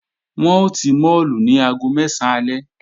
Wọ́n ó ti máàlù ní aago mẹ́sán alẹ́